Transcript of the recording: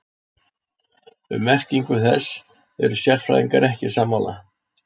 Um merkingu þess eru sérfræðingar ekki sammála.